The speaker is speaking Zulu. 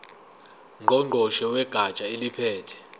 ngqongqoshe wegatsha eliphethe